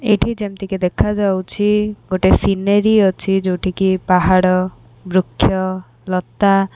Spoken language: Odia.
ଏଇଠି ଯେମିତିକି ଦେଖାଯାଉଛି ଗୋଟେ ସିନେରି ଅଛି ଯୋଉଠି କି ପାହାଡ଼ ବୃକ୍ଷ ଲତା।